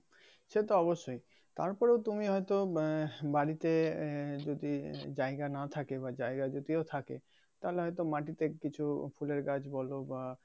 সে তো অবশ্যই তারপরও তুমি হয়তো বা বাড়িতে আহ যদি জায়গা নাহ থাকে বা জায়গা যদিও থাকে তাহলে হয়তো মাটিতে কিছু ফুলের গাছ বলো বা